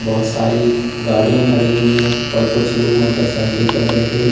बहुत सारी गाड़ियां खड़ी हुई है और कुछ लोग मोटरसाइकिल पर बैठे हुए--